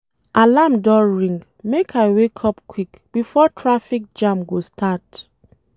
Alarm don ring, make I wake up quick before traffic jam go start.